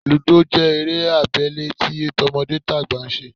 Lúdò jẹ́ eré abẹ́lé tí tọmọdétàgbà ń ṣe